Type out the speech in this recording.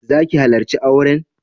Za ki halarci auren?